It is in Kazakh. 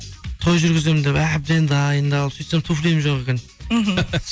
той жүргіземін деп әбден дайындалып сөйтсем туфлиім жоқ екен мхм